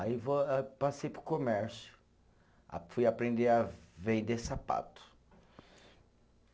Aí eh passei para o comércio, fui aprender a vender sapato.